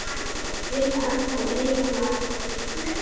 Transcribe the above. Vilborg og Leifur.